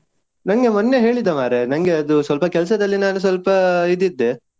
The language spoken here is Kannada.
ನಂಗೆ ಮೊನ್ನೆ ಹೇಳಿದ ಮಾರೆ. ನಂಗೆ ಅದು ಸ್ವಲ್ಪ ಕೆಲ್ಸದಲ್ಲಿದ್ದೆ, ನಾನು ಸ್ವಲ್ಪ ಇದು ಇದ್ದೆ.